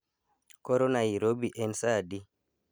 Koro nairobi en saa adi